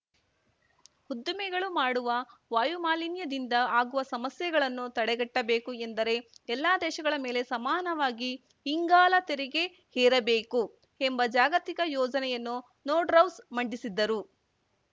ಉದ್ದಿಮೆಗಳು ಮಾಡುವ ವಾಯುಮಾಲಿನ್ಯದಿಂದ ಆಗುವ ಸಮಸ್ಯೆಗಳನ್ನು ತಡೆಗಟ್ಟಬೇಕು ಎಂದರೆ ಎಲ್ಲ ದೇಶಗಳ ಮೇಲೆ ಸಮಾನವಾಗಿ ಇಂಗಾಲ ತೆರಿಗೆ ಹೇರಬೇಕು ಎಂಬ ಜಾಗತಿಕ ಯೋಜನೆಯನ್ನು ನೋರ್ಡ್‌ಹೌಸ್‌ ಮಂಡಿಸಿದ್ದರು